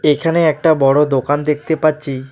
এখানে একটা বড় দোকান দেখতে পাচ্ছি।